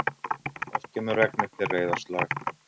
Oft kemur regn eftir reiðarslag.